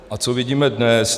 A co vidíme dnes?